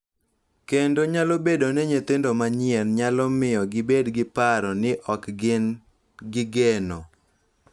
Kendo nyalo bedo ni nyithindo manyien nyalo miyo gibed gi paro ni ok gin gi geno,